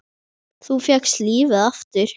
Þú fékkst lífið aftur.